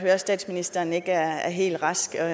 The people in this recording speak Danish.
at statsministeren ikke er er helt rask og